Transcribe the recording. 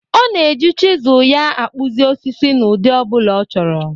Ọ na-eji chịzụl ya akpụzị osisi n'ụdị ọ bụla ọ chọrọ.